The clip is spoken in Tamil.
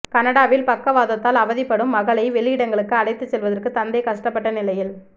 கனடாவில் பக்கவாதத்தால் அவதிப்படும் மகளை வெளியிடங்களுக்கு அழைத்து செல்வதற்கு தந்தை கஷ்டப்பட்ட நிலையில